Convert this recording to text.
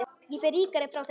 Ég fer ríkari frá þeim.